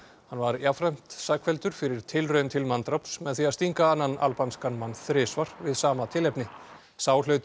hann var jafnframt sakfelldur fyrir tilraun til manndráps með því að stinga annan mann þrisvar við sama tilefni sá hlaut